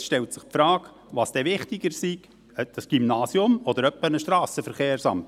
Schon jetzt stellt sich die Frage, was denn wichtiger ist, das Gymnasium oder ein Strassenverkehrsamt.